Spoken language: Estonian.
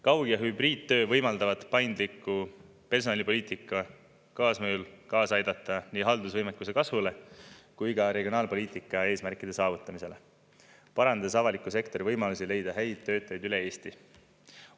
Kaug- ja hübriidtöö võimaldavad paindliku personalipoliitika kaasmõjul kaasa aidata nii haldusvõimekuse kasvule kui ka regionaalpoliitika eesmärkide saavutamisele, parandades avaliku sektori võimalusi leida häid töötajaid üle Eesti.